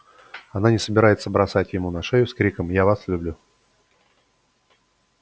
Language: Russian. она не собирается бросать ему на шею с криком я вас люблю